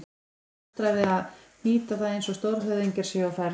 Það er nostrað við að hnýta það eins og stórhöfðingjar séu á ferð.